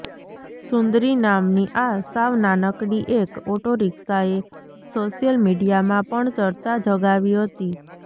સુંદરી નામની આ સાવ નાનકડી એક ઓટોરિક્ષાએ સોશિયલ મીડિયામાં પણ ચર્ચા જગાવી હતી